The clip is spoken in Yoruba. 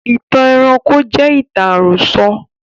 Ìtàn ẹranko jẹ ìtàn àròsọ